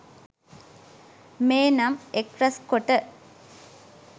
මේ නම් එක්රැස්කොට